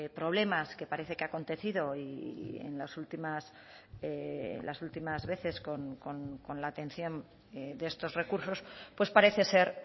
problemas que parece que ha acontecido en las últimas las últimas veces con la atención de estos recursos pues parece ser